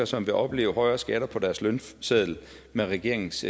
som vil opleve højere skatter på deres lønseddel med regeringens